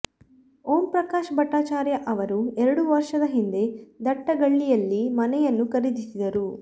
ಓಂ ಪ್ರಕಾಶ್ ಭಟ್ಟಾಚಾರ್ಯ ಅವರು ಎರಡು ವರ್ಷದ ಹಿಂದೆ ದಟ್ಟಗಳ್ಳಿಯಲ್ಲಿ ಮನೆಯನ್ನು ಖರೀದಿಸಿದರು